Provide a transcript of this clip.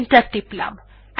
enter টিপলাম